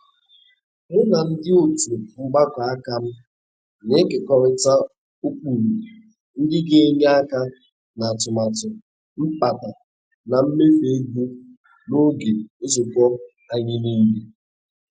Mụ na ndị otu mgbakọ aka m na-ekekọrịta ụkpụrụ ndị ga-enye aka n'atụmtụ mpata na mmefu ego n'oge nzukọ anyị n'ile.